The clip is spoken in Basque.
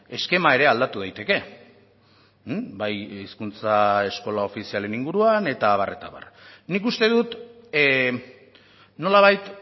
eskema ere aldatu daiteke bai hizkuntza eskola ofizialen inguruan eta abar eta abar nik uste dut nolabait